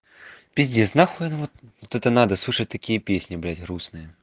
пиздец нахуй это вот это надо слушать такие песни блять грустные